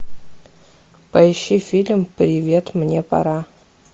поищи фильм привет мне пора